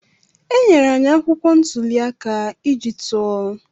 E nyere anyị akwụkwọ ntuli aka iji tụọ.